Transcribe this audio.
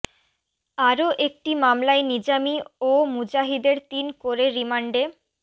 আরও একটি মামলায় নিজামী ও মুজাহিদের তিন করে রিমান্ডে